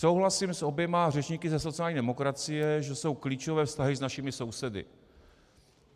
Souhlasím s oběma řečníky ze sociální demokracie, že jsou klíčové vztahy s našimi sousedy.